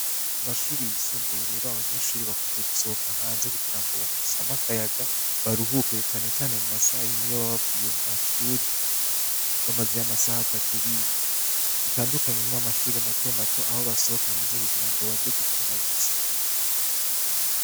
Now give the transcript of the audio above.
Mu mashuri yisumbuye rero abanyenshuri bakunze gusohoka hanze kugira ngo basame amakayaga baruhukere canecane mu masaha iyo bababavuye mu mashuri bamazey'amasaha atatu biga bitandukanye n'iyo amashuri mato mato aho basohoka hanze kugira ngo baje gukina gusa.